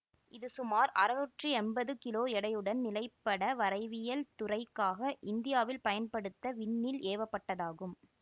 இது சுமார் அறுநூற்றி எம்பது கிலோ எடையுடன் நிலப்பட வரைவியல் துறைக்காக இந்தியாவில் பயன்படுத்த விண்ணில் ஏவப்பட்டதாகும்